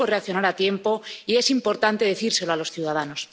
Se supo reaccionar a tiempo y es importante decírselo a los ciudadanos.